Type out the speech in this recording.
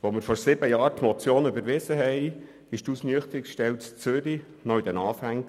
Als wir vor sieben Jahren die Motion überwiesen, befand sich die Ausnüchterungsstelle in Zürich noch in den Anfängen.